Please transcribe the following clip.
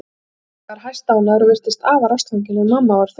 Pabbi var hæstánægður og virtist afar ástfanginn en mamma var þögul.